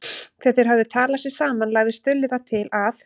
Þegar þeir höfðu talað sig saman lagði Stulli það til að